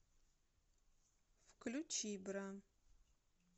включи бра